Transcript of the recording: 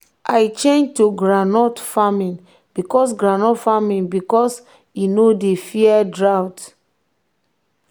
if crop fail we quick replant so weather no go do us strong thing.